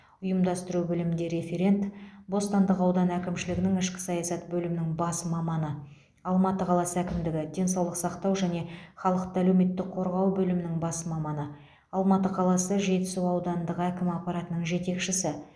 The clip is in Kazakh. ұйымдастыру бөлімінде референт бостандық ауданы әкімшілігінің ішкі саясат бөлімінің бас маманы алматы қаласы әкімдігі денсаулық сақтау және халықты әлеуметтік қорғау бөлімінің бас маманы алматы қаласы жетісу аудандық әкім аппаратының жетекшісі